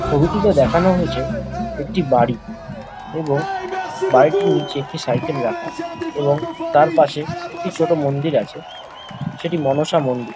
ছবিটিতে দেখানো হয়েছে একটি বাড়ি এবং বাড়িটির নিচে একটি সাইকেল রাখা এবং তার পাশে একটি ছোট মন্দির আছে সেটি মনসা মন্দির।